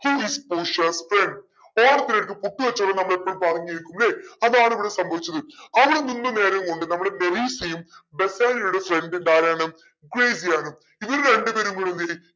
she is portia's friend ഓണത്തിന്റെ ഇടക്ക് പുട്ട് കച്ചോടം ന്ന് നമ്മൾ എപ്പോഴും പറഞ്ഞിരിക്കുംലെ അതാണ് ഇവിടെ സംഭവിച്ചത് അവിടെ നിന്ന നേരം കൊണ്ട് നമ്മുടെ മെറീസയും ബെസാനിയോടെ friend ഉം ആരാണ് ഗ്രേസിയാനും ഇവർ രണ്ട് പേരും കൂടി എന്തെയും